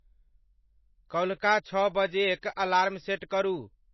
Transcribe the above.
कल्हुका छः बजेयक alarm set करू।